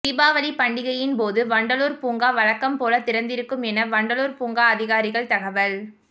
தீபாவளி பண்டிகையின் போது வண்டலூர் பூங்கா வழக்கம்போல திறந்திருக்கும் என வண்டலூர் பூங்கா அதிகாரிகள் தகவல்